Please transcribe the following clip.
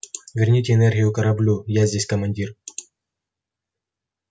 верните энергию кораблю я здесь командир